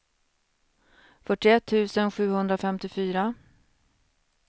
fyrtioett tusen sjuhundrafemtiofyra